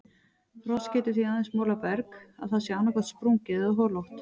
Frost getur því aðeins molað berg að það sé annaðhvort sprungið eða holótt.